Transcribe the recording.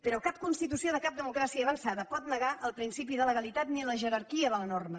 però cap constitució de cap democràcia avançada pot negar el principi de legalitat ni la jerarquia de la norma